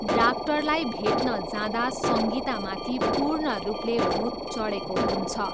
डाक्टरलाई भेट्न जाँदा सङ्गितामाथि पूर्ण रूपले भूत चडेको हुन्छ।